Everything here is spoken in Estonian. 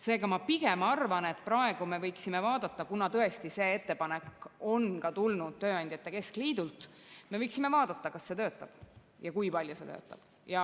Seega, ma pigem arvan, et kuna tõesti see ettepanek on tulnud ka tööandjate keskliidult, me võiksime vaadata, kas see töötab ja kui palju see töötab.